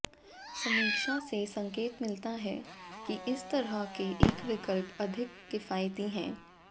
समीक्षा से संकेत मिलता है कि इस तरह के एक विकल्प अधिक किफायती है